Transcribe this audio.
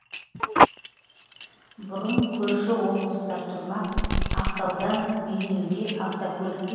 бұрын көрші облыстар тұрмақ ақтаудан бейнеуге автокөлікпен жетудің өзі мұң еді